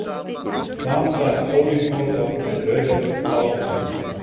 Hvað sagði Óli Þórðar við Rauða baróninn?